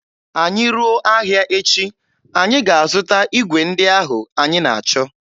Anyị ruo ahịa echi, anyị ga-azụta igwe ndị ahụ anyị na-achọ